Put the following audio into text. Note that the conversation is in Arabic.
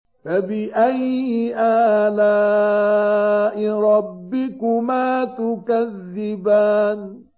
فَبِأَيِّ آلَاءِ رَبِّكُمَا تُكَذِّبَانِ